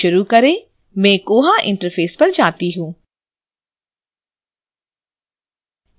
चलो शुरू करें मैं koha interface पर जाती हूँ